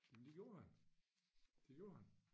Men det gjorde han det gjorde han